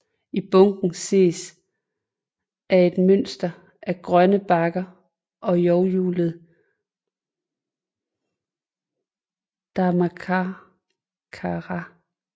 I bunden ses af et mønster af grønne bakker og lovhjulet Dharmacakra